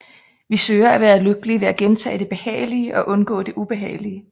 Vi søger at være lykkelige ved at gentage det behagelige og undgå det ubehagelige